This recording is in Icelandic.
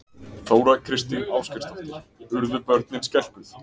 Þóra Kristín Ásgeirsdóttir: Urðu börnin skelkuð?